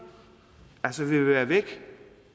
vil være væk